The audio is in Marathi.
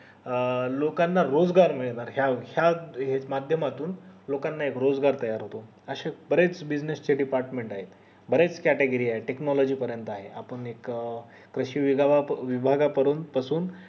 अं लोकांना रोजगार मिळणार या या माध्य मातुन लोकांना एक रोजगार तयार होतो अशे बरेच business चे department आहेत बरेच category आहेत technology पर्यंत आहेत आपण एक कृषी विभागा पासून